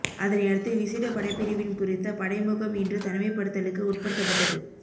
அதனையடுத்து விசேட படைப்பிரிவின் குறித்த படை முகாம் இன்று தனிமைப்படுத்தலுக்கு உட்படுத்தப்பட்டது